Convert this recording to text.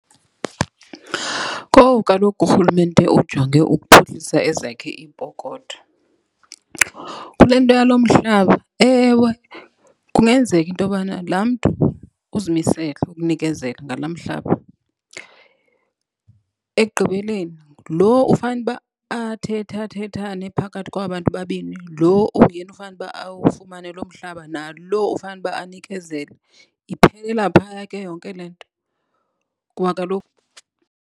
Kowu, kaloku uRhulumente ujonge ukuphuhlisa ezakhe iipokotho. Kule nto yalo mhlaba, ewe, kungenzeka intobana laa mntu uzimisele ukunikezela ngala mhlaba. Ekugqibeleni lo ufanuba athethathethane phakathi kwaba bantu babini, lo unguyena ufanuba awufumane lo mhlaba nalo ufanuba anikezele. Iphelela phaya ke yonke le nto kuba kaloku .